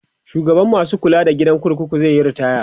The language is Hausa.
shugaban masu kula da gidan kurkuku zaiyi ritaya